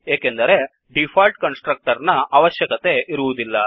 ಏಕೆಂದರೆ default constructor ನ ಅವಶ್ಯಕತೆ ಇರುವುದಿಲ್ಲ